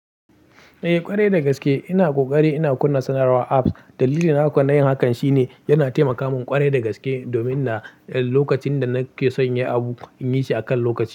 Eh ƙwarai dagaske ina ƙoƙari ina kunna sanarwar apps. Dalili na kona yin hakan shine yana taimaka min ƙwarai dagaske, domin na lokacin da nake son yi abu in yi shi akan lokaci.